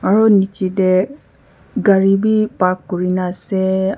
aru nichi deh gari bi park kurina ase.